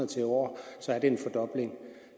til en år